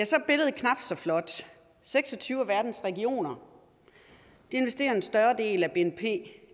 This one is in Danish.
så er billedet knap så flot seks og tyve af verdens regioner investerer en større del af bnp